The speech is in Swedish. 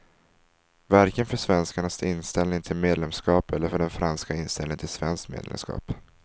Varken för svenskarnas inställning till medlemskap eller för den franska inställningen till svenskt medlemskap.